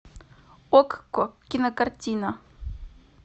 окко кинокартина